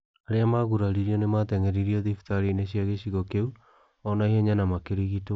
'Arĩa maguraririo nĩ maateng'eririo thibitarĩ-inĩ cia gĩcigo kĩu o na ihenya na makĩrigitwo.